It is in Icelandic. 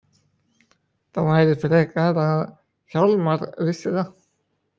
Það væri frekar að Hjálmar vissi það.